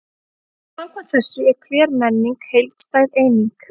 Samkvæmt þessu er hver menning heildstæð eining.